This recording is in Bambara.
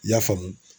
I y'a faamu